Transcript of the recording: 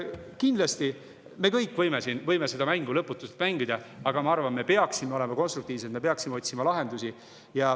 Kindlasti, me võime seda mängu lõputult mängida, aga ma arvan, et me peaksime olema konstruktiivsed, me peaksime otsima lahendusi.